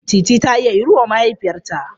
Teetea ta siya iru wa mahaifiyarta.